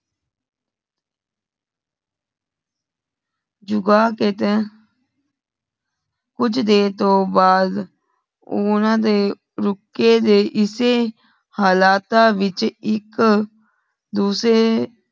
ਝੁੱਗਾ ਖੇਤੇ ਕੁਛ ਦੇਰ ਤੂ ਬਾਧ ਉਨੱਢੇ ਰੂਕੇ ਢੇ ਇਸੇ ਹਾਲਾਤ ਵਿਚ ਇਕ ਦੂਸਰੇ